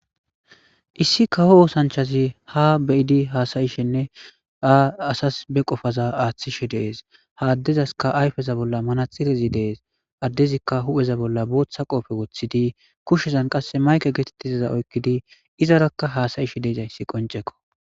Issi kawo oosanchchazi haa be'idi haasa'ishenne ha asasi be qofaza aaththishe de'es. Ha addezaskka ayfeza bolla manaxirezi de'es. Addezikka hu'eza bolla booththa qoope woththidi kushen qasse mayke geetettizayssa oykkidi izarakka haasa'ishe dizayssi qoncceko.